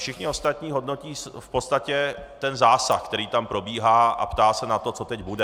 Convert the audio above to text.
Všichni ostatní hodnotí v podstatě ten zásah, který tam probíhá, a ptají se na to, co teď bude.